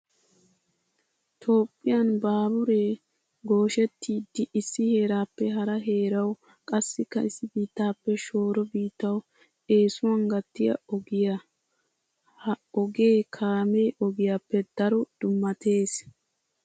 Toophphiyan baaburee gooshettiiddi issi heeraappe hara heerawu qassikka issi biittaappe shooro biittawu eesuwan gattiya ogiya. Ha ogee kaame ogiyappe daro dummattees.